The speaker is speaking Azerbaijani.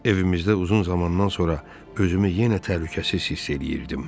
Evimizdə uzun zamandan sonra özümü yenə təhlükəsiz hiss eləyirdim.